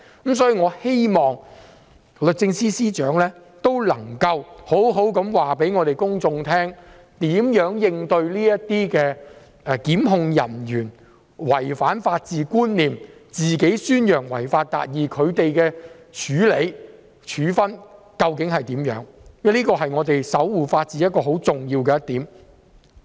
因此，我希望律政司司長可以告訴公眾會如何應對檢控人員違反法治觀念、宣揚違法達義的行為，他們究竟會如何處理和作出處分，因為這是我們守護法治很重要的一點。